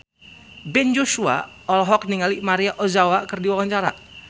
Ben Joshua olohok ningali Maria Ozawa keur diwawancara